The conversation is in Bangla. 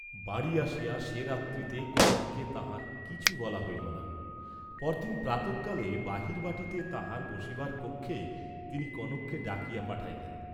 বাড়ী আসিয়া সেরাত্রিতে কনককে তাঁহার কিছু বলা হইল না, পরদিন প্রাতঃকালে বাহির বাটীতে তাঁহার বসিবার কক্ষে তিনি কনককে ডাকিয়া পাঠাইলেন।